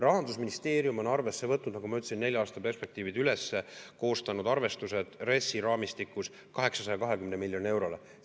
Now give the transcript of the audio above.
Rahandusministeerium on arvesse võtnud, nagu ma ütlesin, nelja aasta perspektiivid, koostanud arvestused RES‑i raamistikus 820 miljonile eurole.